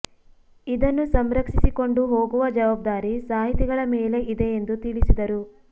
ಇದನ್ನು ಸಂರಕ್ಷಿಸಿಕೊಂಡು ಹೋಗುವ ಜವಾಬ್ದಾರಿ ಸಾಹಿತಿಗಳ ಮೇಲೆ ಇದೆ ಎಂದು ತಿಳಿಸಿದರು